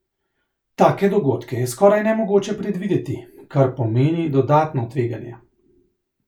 Take dogodke je skoraj nemogoče predvideti, kar pomeni dodatno tveganje.